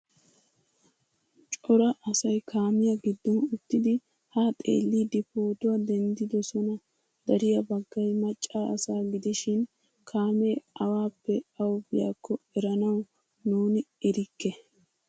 Cora asay kaamiyaa giddon uttidi ha xeelidi pootuwaa denddidosona. Dariya baggay macca asa gidishin kaame awappe awu biyako eranawu nuuni erike.